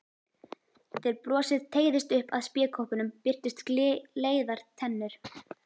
Þegar brosið teygðist upp að spékoppunum birtust gleiðar tennur.